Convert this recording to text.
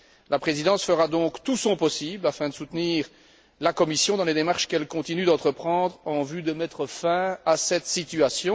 La Présidence fera donc tout son possible afin de soutenir la Commission dans les démarches qu'elle continue d'entreprendre en vue de mettre fin à cette situation.